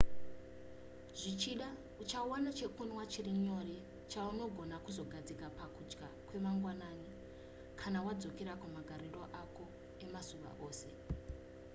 zvichida uchawana chekunwa chiri nyore chaunogona kuzogadzira pakudya kwemangwanani kana wadzokera kumagariro ako emazuva ose